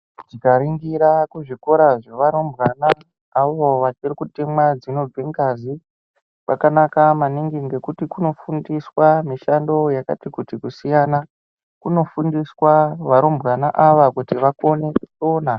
Tikaringira kuzvikora zvevarumbwana ngeavo vachiri kutemwa dzinobve ngazi, kwakanaka maningi nekuti kunofundiswa mishando yakati kuti kusiyana. Kunofundiswa varumbwana ava kuti vakone kusona.